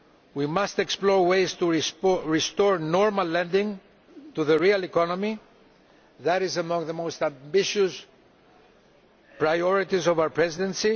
We must explore ways to restore normal lending to the real economy that is among the most ambitious priorities of our Presidency.